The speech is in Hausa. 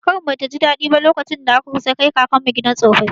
Kakarmu ba ta ji daɗi ba, lokacin da aka kusa kai kakanmu gidan tsofaffi.